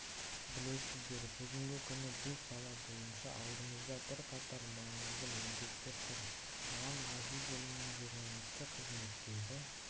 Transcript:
білесіздер бүгінгі күні бұл сала бойынша алдымызда бірқатар маңызды міндеттер тұр алан ғазизұлының журналистік қызметтегі